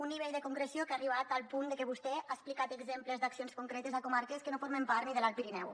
un nivell de concreció que ha arribat al punt de que vostè ha explicat exemples d’accions concretes a comarques que no formen part ni de l’alt pirineu